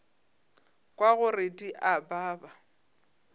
kwa gore di a baba